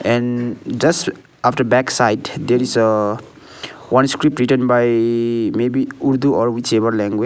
and just after back side there is a one script written by maybe urdu or whichever language.